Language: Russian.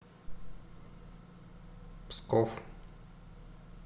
псков